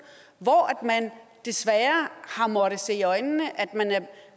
hvor man desværre har måttet se i øjnene at man er